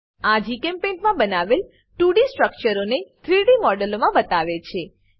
આ જીચેમ્પેઇન્ટ મા બનાવેલ 2ડી સ્ટ્રક્ચરોને 3ડી મોડેલો મા બતાવે છે